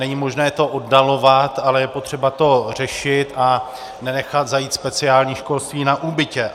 Není možné to oddalovat, ale je potřeba to řešit a nenechat zajít speciální školství na úbytě.